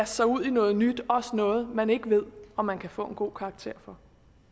sig ud i noget nyt også noget man ikke ved om man kan få en god karakter for